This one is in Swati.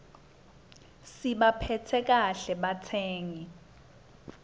sibaphatse kahle batsengi